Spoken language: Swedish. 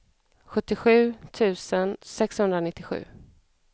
sjuttiosju tusen sexhundranittiosju